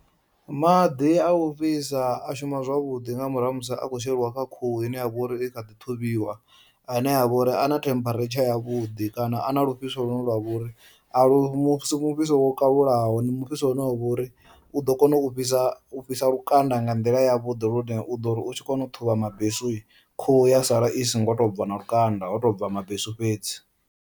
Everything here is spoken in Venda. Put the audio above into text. Maḓi a u fhisa a shuma zwavhuḓi nga murahu ha musi a kho sheliwa kha khuhu ine ya vhori i kha ḓi ṱhuvhiwa ane a vhori a na temparature ya vhuḓi kana a na lufhiso lune lwa vho ri a lu a si mufhiso wo kalulaho, ndi mufhiso une wa vhori u ḓo kona u fhisa lukanda nga nḓila ya vhuḓi lune u ḓori u tshi kona u ṱhuvha mabesuhi khuhu ya sala i songo to bva na lukanda ho tou bva mabesu fhedzi.